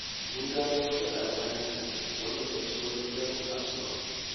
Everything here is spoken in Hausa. Mun gano wata ƙaramar hanya wadda ta fi saurin kai mu kasuwa.